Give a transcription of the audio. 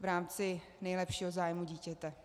v rámci nejlepšího zájmu dítěte.